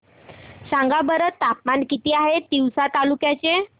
सांगा बरं तापमान किती आहे तिवसा तालुक्या चे